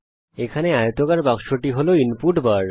এখানে এই আয়তক্ষেত্রাকার বাক্সটি ইনপুট বার